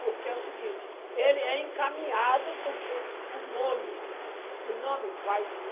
Porque é o seguinte, ele é encaminhado porque o nome o nome faz ir.